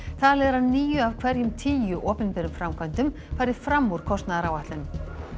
talið er að níu af hverjum tíu opinberum framkvæmdum fari fram úr kostnaðaráætlun